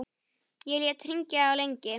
Ég lét hringja lengi.